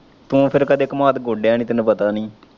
ਤੂੰ ਫਿਰ ਕਦੇ ਕੰਮਾਦ ਗੋਡਿਆ ਨੀ ਤੈਨੂੰ ਪਤਾ ਨੀ।